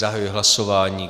Zahajuji hlasování.